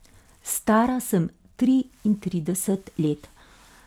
Stara sem triintrideset let.